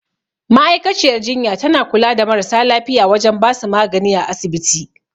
Ma'aikaciyar jinya tana kula da marasa lafiya wajen basu magani a asibiti